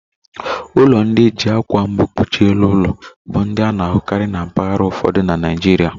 Ụlọ ndị e ji akwa mbu kpuchie elu ụlọ, bụ ndị a na-ahụkarị na mpaghara ụfọdụ na Naijiria